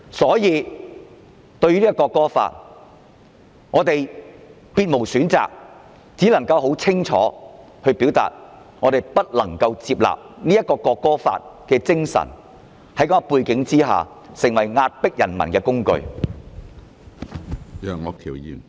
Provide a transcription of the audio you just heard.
因此，對於《條例草案》，我們別無選擇，只能清楚地表明我們不能接納《條例草案》在這樣的背景下，成為壓迫人民的工具。